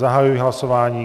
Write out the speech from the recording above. Zahajuji hlasování.